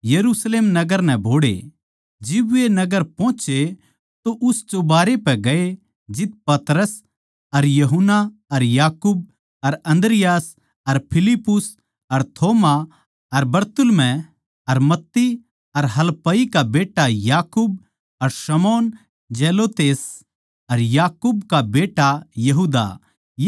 जिब वे नगर पोहोचे तो उस चुबारे पै गये जित पतरस अर यूहन्ना अर याकूब अर अन्द्रियास अर फिलिप्पुस अर थोमा अर बरतुल्मै अर मत्ती अर हलफई का बेट्टा याकूब अर शमौन जेलोतेस अर याकूब का बेट्टा यहूदा ये सारे माणस ओड़ै थे